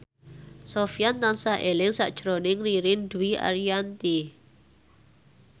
Sofyan tansah eling sakjroning Ririn Dwi Ariyanti